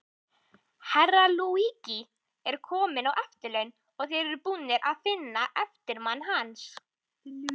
Herra Luigi er kominn á eftirlaun, og þeir eru búnir að finna eftirmann hans.